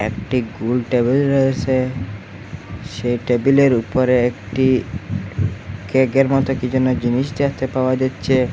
একটি গুল টেবিল রয়েসে সেই টেবিলের উপরে একটি কেকের মতো কি যেন জিনিস দেখতে পাওয়া যাচ্ছে।